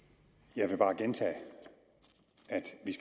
jeg vil bare gentage at